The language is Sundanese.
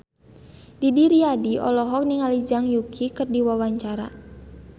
Didi Riyadi olohok ningali Zhang Yuqi keur diwawancara